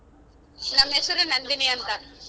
ನಮ್ ಹೆಸರು ನಂದಿನಿ ಅಂತ.